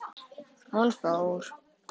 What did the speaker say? Hún fór.